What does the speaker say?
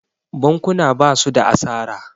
bakuna ba su da asara